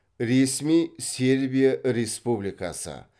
ресми сербия республикасы